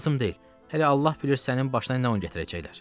Lazım deyil, hələ Allah bilir sənin başına nə oyun gətirəcəklər.